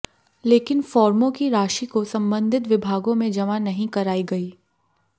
लेकिन फॉर्मो की राशि को संबंधित विभागों में जमा नही कराई गई